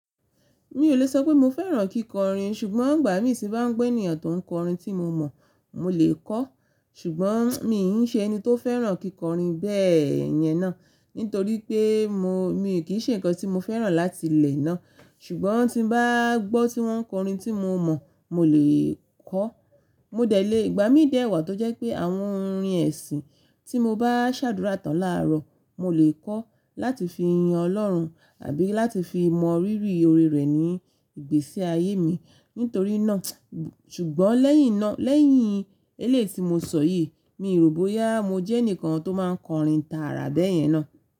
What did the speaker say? Mi ò le sọ pé mo fẹ́ràn kíkọrin ṣùgbọ́n ìgbà mí tí bá ń gbọ́ ènìyàn tó ń kọrin tí mo mọ̀, mo lè kọ́. Ṣùgbọ́n mi ǹ ṣe ẹni tó fẹ́ràn kíkọrin bẹ́ẹ̀ yẹn ná. Nítorí pé mo, mi kì í ṣe ǹkan tí mo fẹ́ràn láti ilẹ̀ ná. Ṣùgbọ́n tí bá gbọ́ tí wọ́n ń kọrin tí mo mọ̀, mo lè kọ́. Mo dẹ̀ lé ìgbà mí dè ẹ̀wà tó jẹ́ pé àwọn orin ẹ̀sìn tí mo bá ṣàdúrà tán làárọ̀, mo lè kọ́ láti fi yin Ọlọ́run àbí láti fi mọ̀rírì ọ̀rẹ́ rẹ̀ ní ìgbésí ayé mi. Nítorí náà, ṣùgbọ́n lẹ́yìn náà, lẹ́yìn eléyi ti mo sọ yìí, mi rò bóyá mo jẹ́ ẹnìkan tó máa kọrin tààrà bẹ́ẹ̀ yẹn ná.